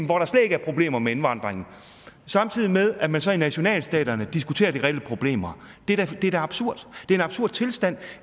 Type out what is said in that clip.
hvor der slet ikke er problemer med indvandringen samtidig med at man så i nationalstaterne diskuterer de reelle problemer det er da absurd det er en absurd tilstand